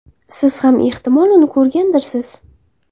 Siz ham ehtimol uni ko‘rgandirsiz.